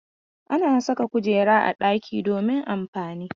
Ana sa kujera a ɗaki domin amfani.